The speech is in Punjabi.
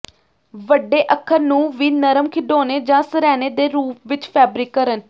ਵੱਡੇ ਅੱਖਰ ਨੂੰ ਵੀ ਨਰਮ ਖਿਡੌਣੇ ਜ ਸਰ੍ਹਾਣੇ ਦੇ ਰੂਪ ਵਿਚ ਫੈਬਰਿਕ ਕਰਨ